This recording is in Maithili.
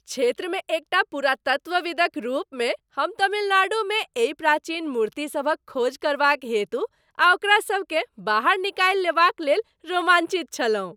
क्षेत्रमे एकटा पुरातत्वविदक रूपमे हम तमिलनाडुमे एहि प्राचीन मूर्तिसभक खोज करबाक हेतु आ ओकरा सबकेँ बाहर निकालि लेबाक लेल रोमाञ्चित छलहुँ।